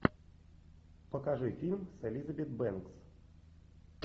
покажи фильм с элизабет бэнкс